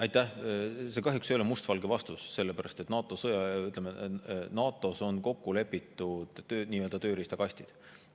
See ei ole kahjuks must-valge vastus, sellepärast et NATO-s on kokku lepitud nii‑öelda tööriistakastid.